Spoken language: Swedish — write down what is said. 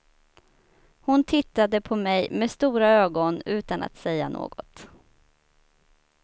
Hon tittade på mig med stora ögon utan att säga något.